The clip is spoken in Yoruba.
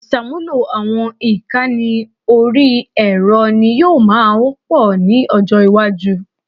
Ìṣàmúlò àwọn ìkànnì orí ẹ̀rọ ni yóò máa wọ́pọ̀ ní ọjọ́ iwájú